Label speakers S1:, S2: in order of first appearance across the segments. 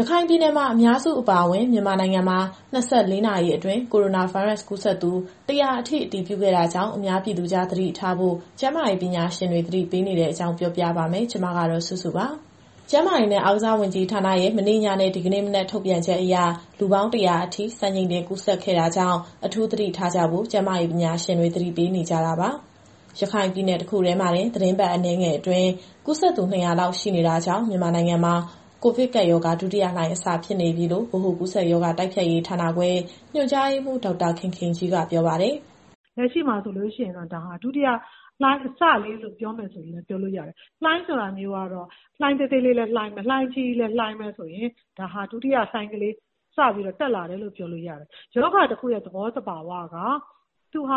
S1: ရခိုင်ပြည်နယ်မှာ အများစုအပါအဝင် မြန်မာနိုင်ငံမှာ ၂၄ နာရီအတွင်း ကိုရိုနာဗိုင်းရပ်စ် ကူးစက်သူ ၁၀၀ အထိ အတည်ပြုခဲ့တာကြောင့် အများပြည်သူကြား သတိထားဖို့ ကျန်းမာရေးပညာရှင်တွေ သတိပေးနေတဲ့အကြောင်း ဗွီအိုအေမြန်မာပိုင်း သတင်းထောက်စုစုက တင်ဆက်ပေးပါမယ်။ ကျန်းမာရေးနဲ့ အားကစားဝန်ကြီးဌာနရဲ့ မနေ့ညနဲ့ ဒီကနေ့မနက်ထုတ်ပြန်ချက်အရ လူပေါင်း ၁၀၀ အထိ စံချိန်တင် ကူးစက်ခဲ့တာကြောင့် အထူးသတိထားကြဖို့ ကျန်းမာရေးပညာရှင်တွေ သတိပေးနေကြတာပါ။ ရခိုင်ပြည်နယ် တခုတည်းမှာတင် သီတင်းပတ်အနည်းငယ်အတွင်း ကူးစက်သူ ၂၀၀ လောက် ရှိလာတာကြောင့် မြန်မာနိုင်ငံမှာ ကိုဗစ်ကပ်ရောဂါ ဒုတိယလှိုင်းအစဖြစ်နေပြီလို့ ဗဟိုကူးစက်ရောဂါ တိုက်ဖျက်ရေးဌာနခွဲ ညွှန်ကြားရေးမှူး ဒေါက်တာခင်ခင်ကြီးက ပြောပါတယ်။
S2: “လက်ရှိမှာဆိုရင်တော့ ဒါဟာ ဒုတိယလှိုင်းအစလေးလို့ ပြောမယ်ဆိုရင် ပြောလို့ရတယ်။ လှိုင်းဆိုတာမျိုးကတော့ လှိုင်းသေးသေးလေးလည်း လှိုင်းပဲ။ လှိုင်းအကြီးကြီးလည်း လှိုင်းပဲဆိုရင် ဒါဟာ ဒုတိယလှိုင်းလေး စပြီးတော့တက်လာတယ်လို့ ပြောလို့ရတယ်။ ရောဂါတခုရဲ့ သဘောသဘာဝက သူကစ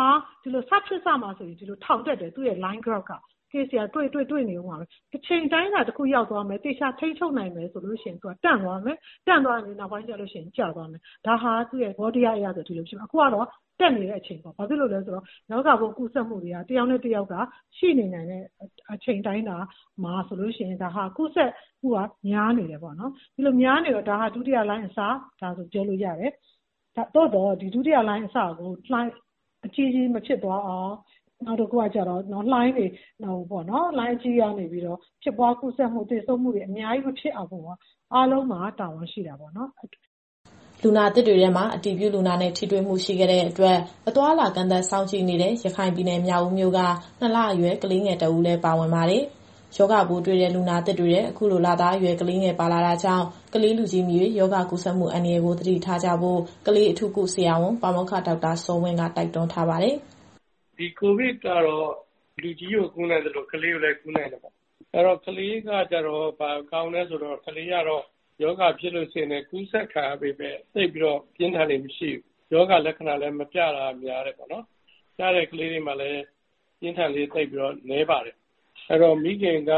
S2: ဖြစ်စမှာဆို ထောင်တက်တယ်။ Case က တွေ့နေဦးမှာပဲ။ အချိန်အတိုင်းအတာ တခုရောက်သွားမယ် သေချာထိန်းချုပ်နိုင်မယ်ဆိုရင် သူကတန့်သွားမယ်။ တန့်သွားပြီးနောက်ပိုင်းကျရင် ကျသွားမယ်။ ဒါဟာ သူ့ရဲ့သဘောတရားအရဆို ဒီလိုရှိတယ်။ အခုကတော့ တက်နေတဲ့အချိန်ပေါ့။ ဘာလို့လည်းဆိုတော့ ရောဂါပိုးကူးစက်မှုတွေက တယောက်နဲ့တယောက်က ရှိနေနိုင်တဲ့အချိန်အတိုင်းအတာမှာဆိုရင် ကူးစက်မှုကများနေတယ်ပေါ့နော်။ ဒီလိုများနေတော့ ဒါဟာဒုတိယလှိုင်းအစ ပြောလို့ရတယ်။ သို့သော် ဒီဒုတိယလှိုင်းအစကို လှိုင်းအကြီးအကြီးမဖြစ်သွားအောင် သေဆုံးမှုတွေအများကြီး မဖြစ်အောင် အားလုံးမှာတာဝန်ရှိတာပေါ့။
S1: ” လူနာသစ်တွေထဲမှာ အတည်ပြုလူနာနဲ့ ထိတွေ့မှုရှိခဲ့တဲ့အတွက် အသွားအလာကန့်သတ်စောင့်ကြည့်နေတဲ့ ရခိုင်ပြည်နယ် မြောက်ဦးမြို့က ၂ လ အရွယ်ကလေးငယ်တစ်ဦးလည်း ပါဝင်ပါတယ်။ ရောဂါပိုးတွေ့တဲ့ လူနာသစ်တွေထဲ အခုလိုလသားအရွယ် ကလေးငယ်ပါလာတာကြောင့် ကလေး၊ လူကြီးမရွေး ရောဂါကူးစက်မှုအန္တရာယ်ကို သတိထားကြဖို့ ကလေးအထူးကုဆရာဝန် ပါမောက္ခဒေါက်တာစောဝင်းက တိုက်တွန်းပါတယ်။
S3: “ကိုဗစ်က လူကြီးကိုကူးနိုင်သလို ကလေးကိုလည်း ကူးနိုင်ပါတယ်။ အဲတော့ ကလေးကကျတော့ ရောဂါကူးစက်ခံရပေမဲ့ သိပ်ပြီးတော့ပြင်းထန်လေ့ မရှိဘူး။ ရောဂါလက္ခဏာကလည်း မပြတာက များတယ်ပေါ့နော်။ ပြတဲ့ကလေးတွေမှာလည်း ရောဂါပြင်းထန်လေ့ နည်းပါတယ်။ အဲတော့ မိခင်က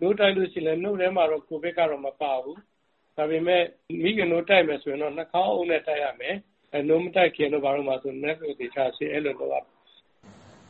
S3: နို့တိုက်လို့ရှိရင်လည်း နို့ထဲမှာတော့ ကိုဗစ်ကမပါဘူး။ ဒါပေမဲ့ မိခင်နို့တိုက်မယ်ဆိုရင်တော့ နှာခေါင်းအုပ်နဲ့တိုက်ရမယ်။ နို့မတိုက်ခင်မှာလည်း လက်ကိုသေချာဆေးရမယ်။”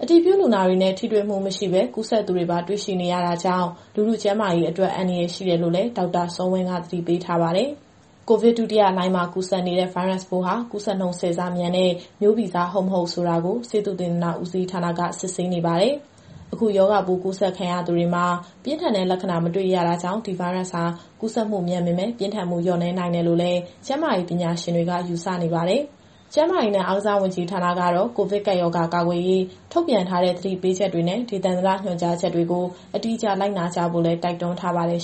S1: အတည်ပြုလူနာတွေနဲ့ ထိတွေ့မှုမရှိပဲ ကူးစက်သူတွေပါ တွေ့ရှိနေရတာကြောင့် လူထုကျန်းမာရေးအတွက် အန္တရာယ်ရှိတယ်လို့လည်း ဒေါက်တာစောဝင်းက သတိပေးထားပါတယ်။ ကိုဗစ်ဒုတိယလှိုင်းမှာ ကူးစက်နေတဲ့ ဗိုင်းရပ်စ်ပိုးဟာ ကူးစက်နှုန်း ၁၀ ဆမြန်တဲ့ မျိုးဗီဇဟုတ် မဟုတ်ဆိုတာကို ဆေးသုတေသနဦးစီးဌာနက စစ်ဆေးနေပါတယ်။ အခုရောဂါပိုးကူးစက်ခံရသူတွေမှာ ပြင်းထန်တဲ့လက္ခဏာမတွေ့ရတာကြောင့်ဒီဗိုင်းရပ်စ်ဟာ ကူးစက်မှုမြန်ပေမဲ့ ပြင်းထန်မှုလျော့နည်းနိုင်တယ်လို့လည်း ကျန်းမာရေးပညာရှင်တွေ ယူဆနေပါတယ်။ ကျန်းမာရေးနဲ့အားကစားဝန်ကြီးဌာနကတော့ ကိုဗစ်ကပ်ရောဂါ ကာကွယ်ရေး ထုတ်ပြန်ထားတဲ့ သတိပေးချက်တွေနဲ့ ဒေသန္တရညွှန်ကြားချက်တွေကို အတိအကျလိုက်နာကြဖို့လည်း တိုက်တွန်းထားပါတယ်